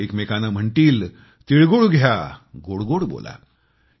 लोक एकमेकांना म्हणतील तीळ गुळ घ्या गोड गोड बोला